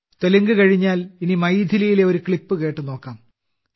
തെലുങ്ക് കഴിഞ്ഞാൽ ഇനി മൈഥിലിയിലെ ഒരു ക്ലിപ്പ് കേട്ട് നോക്കാം